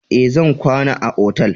Ee, zan kwana a otal.